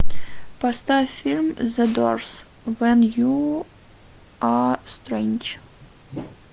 поставь фильм зе дорс вен ю а стрендж